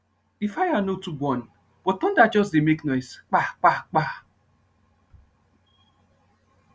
the fire no too burn but thunder just dey make noise pa pa pa